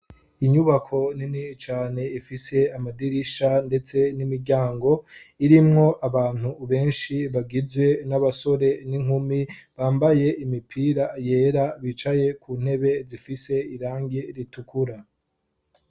Inyubako nini cane ifise amadirisha ndetse n'imiryango, irimwo abantu benshi bagize n'abasore n'inkumi, bambaye imipira yera bicaye ku ntebe zifise irangi ritukura.